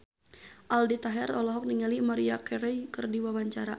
Aldi Taher olohok ningali Maria Carey keur diwawancara